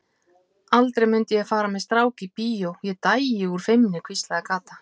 Aldrei mundi ég fara með strák í bíó, Ég dæi úr feimni hvíslaði Kata.